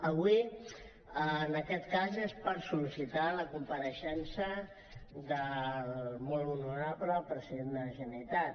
avui en aquest cas és per sol·licitar la compareixença del molt honorable president de la generalitat